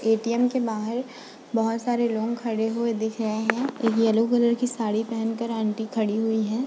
ATM के बाहर बहुत सारे लोग खड़े हुए दिख रहे हैं एक येलो कलर की साड़ी पहनकर आंटी खड़ी हुई हैं।